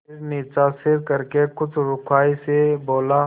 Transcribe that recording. फिर नीचा सिर करके कुछ रूखाई से बोला